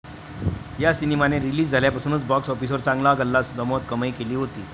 या सिनेमाने रिलीज झाल्यापासूनच बॉक्स ऑफिसवर चांगला गल्ला जमवत कमाई केली होती.